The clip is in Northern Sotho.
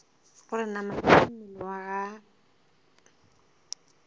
gore namana tša mmele wa